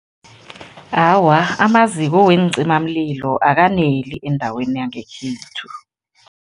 Awa, amaziko weencimamlilo akaneli endaweni yangekhethu.